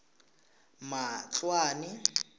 matloane